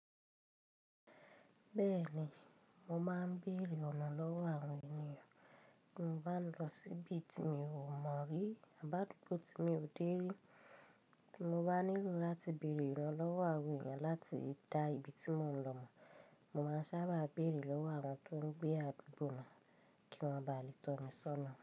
Bẹ́ẹ̀ni, mo máa ń bèrè ọ̀nà lọ́wọ́ àwọn ènìyàn tí mo bá ń lọ sí ibi tí mi ò mọ̀ rí àbá àdúgbò tí mi ò dé rí. Tí mo bá nílò láti bèrè ìrànlọ́wọ́ àwọn ènìyàn láti dá ibi tí mò ń lọ mọ̀, mo máa sábà bèrè lọ́wọ́ àwọn tó ń gbé àdúgbò náà kí wọ́n ba lè tọ́ mi sọ́nà.